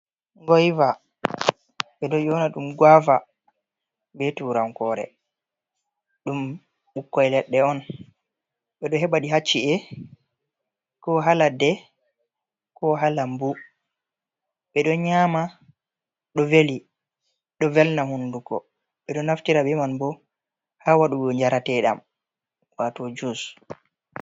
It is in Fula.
Goyva ɓe ɗo yona ɗum guava be turankore, ɗum ɓukkoi leɗɗe on, ɓeɗo heɓa ɗi hacci’e ko ha ladde, ko ha lambu. Ɓe ɗo nyama, ɗo velna hunduko, ɓeɗo naftira be man bo ha waɗugo jarateɗam wato jus.